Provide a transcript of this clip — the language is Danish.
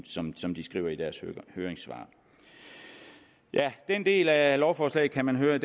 som som de skriver i deres høringssvar den del af lovforslaget kan man høre at